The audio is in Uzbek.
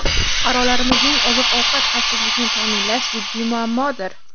Fuqarolarimizning oziq-ovqat xavfsizligini ta’minlash jiddiy muammodir.